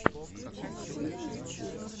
включи мультфильмы ютьюб